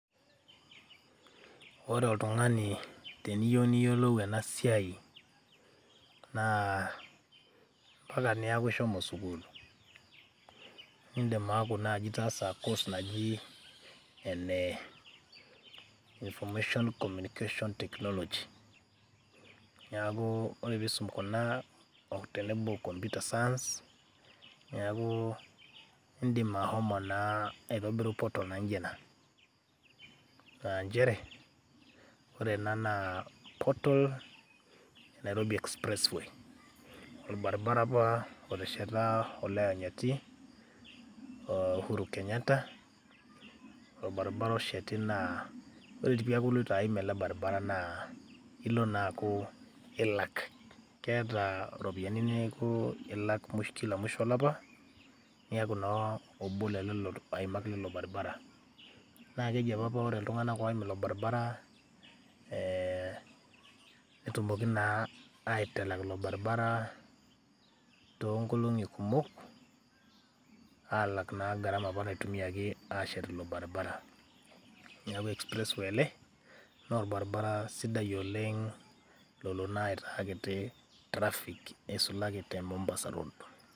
Ore oltung'ani teniyeu niyolou ena siai naa mpaka neeku ishomo sukuul nindim aaku nai itaasa course naji Information Communication Technology, neeku kore piisum kuna tenebo o computer science, neeku indim ashomo naa aitobiru portal naijo ina. Aah njere ore ena naa portal Nairobi express way, obaribara apa otesheta olayanyiti Uhuru Kenyatta, orbaribara osheti naa ore tiii pee eaku iloito aim ele baribara naa ilo naa aaku ilak, keeta iropiani neeku ilak kila mwisho olapa niaku naa obo loo lelo aimak lilo baribara, naake eji apa ore iltung'anak oim ilo baribara ee netumoki naa aitalak ilo baribara too nkolong'i kumok aalak naa garama apa naitumiaki ashet ilo baribara. Neeku express way ele naa orbaribara sidai oleng' lolo naa aitaa kiti traffic nisulaki te Mombasa road.